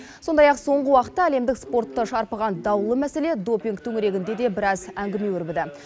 сондай ақ соңғы уақытта әлемдік спортты шарпыған даулы мәселе допинг төңірегінде де біраз әңгіме өрбіді